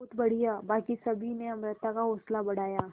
बहुत बढ़िया बाकी सभी ने अमृता का हौसला बढ़ाया